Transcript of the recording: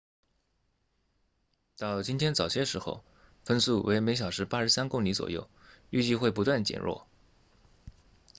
到今天早些时候风速为每小时83公里左右预计会不断减弱